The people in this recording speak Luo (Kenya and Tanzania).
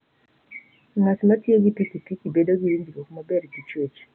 Ng'at ma tiyo gi pikipiki, bedo gi winjruok maber gi chwech.